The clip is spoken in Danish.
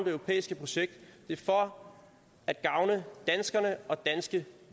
europæiske projekt det er for at gavne danskerne og danske